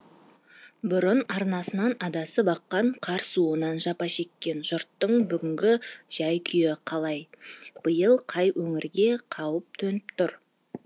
бұрын арнасынан адасып аққан қар суынан жапа шеккен жұрттың бүгінгі жәй күйі қалай биыл қай өңірге қауіп төніп тұр